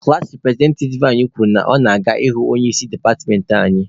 Klaasị repụrezentativ anyị kwuru na ọ gara ịhụ onye isi departmentị anyị.